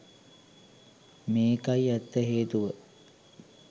මේකයි ඇත්ත හේතුව